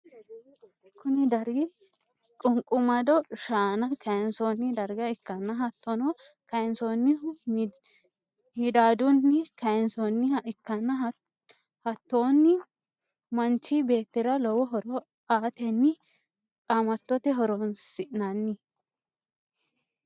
kuni dargi qunqumado shaana kayinsoonni darga ikkanna hattonni kayinsoonnihu midaadunni kayinsoonniha ikkanna hattonni manchi beettira lowo horo aatenni qaamatote horoonsinanni.